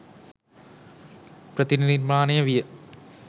ප්‍රතිනිර්මාණය විය